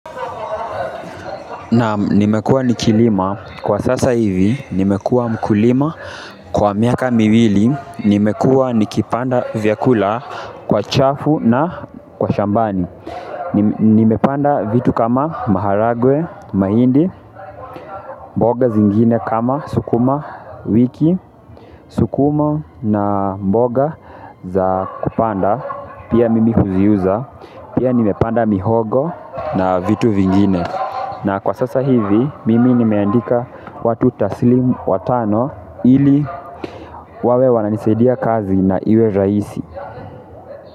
Naam nimekuwa nikilima kwa sasa hivi, nimekuwa mkulima kwa miaka miwili, nimekuwa nikipanda vyakula kwa chafu na kwa shambani nimepanda vitu kama maharagwe, mahindi, mboga zingine kama sukumawiki, sukuma na mboga za kupanda pia mimi huziuza pia nimepanda mihogo na vitu vingine na kwa sasa hivi mimi nimeandika watu tasilimu watano ili wawe wananisaidia kazi na iwe rahisi.